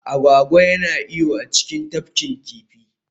Agwagwa yana iyo a cikin tafkin kifi